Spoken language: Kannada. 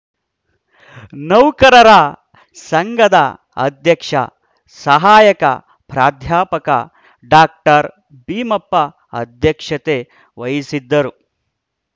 ನೌಕರರ ಸಂಘದ ಅಧ್ಯಕ್ಷ ಸಹಾಯಕ ಪ್ರಾಧ್ಯಾಪಕ ಡಾಕ್ಟರ್ ಭೀಮಪ್ಪ ಅಧ್ಯಕ್ಷತೆ ವಹಿಸಿದ್ದರು